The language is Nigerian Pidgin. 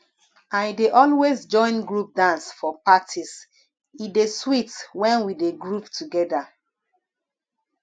i dey always join group dance for parties e dey sweet when we dey groove together